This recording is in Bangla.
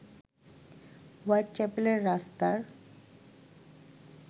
হোয়াইট চ্যাপেলের রাস্তার